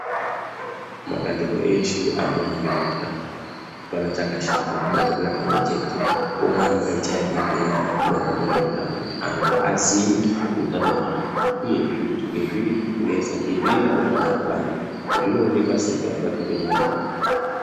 mabandiko eshe anoona ngezveutano hapana chakashata kubatsirana pamwe chete kuramba eichaya bembera maererano ngezveutano kuti antu aziye hutano hwavo. Uyezve kuti ngezvipi zvirikunetsa ngezvipi zvaanofanha kurwanazvo zvinoonekwa sei kana zvapinda munyama yako.